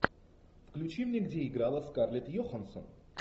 включи мне где играла скарлетт йоханссон